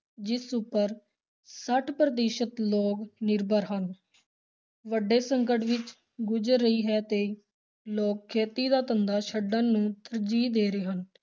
ਜਿਸ ਉੱਪਰ ਛੱਠ ਪ੍ਰਤੀਸ਼ਤ ਲੋਕ ਨਿਰਭਰ ਹਨ ਵੱਡੇ ਸੰਕਟ ਵਿੱਚ ਗੁਜ਼ਰ ਰਹੀ ਹੈ ਤੇ ਲੋਕ ਖੇਤੀ ਦਾ ਧੰਦਾ ਛੱਡਣ ਨੂੰ ਤਰਜੀਹ ਦੇ ਰਹੇ ਹਨ।